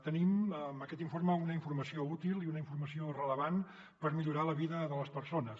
tenim amb aquest informe una informació útil i una informació rellevant per millorar la vida de les persones